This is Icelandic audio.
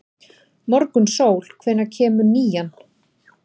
Morgunsól, hvenær kemur nían?